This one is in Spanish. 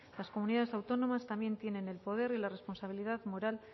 las comunidades autónomas también tienen el poder y la responsabilidad moral